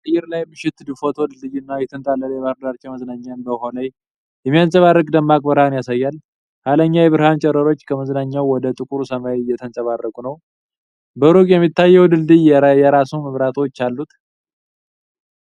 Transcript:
የአየር ላይ የምሽት ፎቶ ድልድዩንና የተንጣለለ የባሕር ዳርቻ መዝናኛን በውሃው ላይ በሚንጸባረቅ ደማቅ ብርሃን ያሳያል። ኃይለኛ የብርሃን ጨረሮች ከመዝናኛው ወደ ጥቁሩ ሰማይ እየተንጸባረቁ ነው። በሩቅ የሚታየው ድልድይ የየራሱ መብራቶች አሉት።